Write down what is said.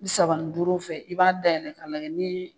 bi saba ni duuru fɛ i b'a dayɛlɛn k'a lajɛ ni